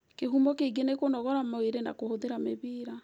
Kĩhumo Kĩngĩ nĩ kũnogora mwĩrĩ na kũhũthĩra mĩbira.